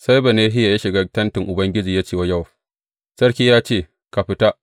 Sai Benahiya ya shiga tentin Ubangiji ya ce wa Yowab, Sarki ya ce, Ka fita!’